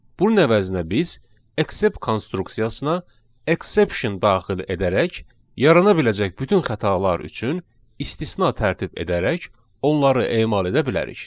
Bunun əvəzinə biz exception konstruksiyasına exception daxil edərək yarana biləcək bütün xətalar üçün istisna tərtib edərək onları emal edə bilərik.